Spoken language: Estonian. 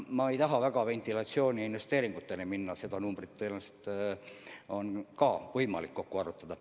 Ma ei taha siin ventilatsiooniinvesteeringuteni minna, kuigi seda numbrit tõenäoliselt on võimalik kokku arvutada.